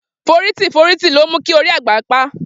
Foriti foriti lo mu ki ori agba pa.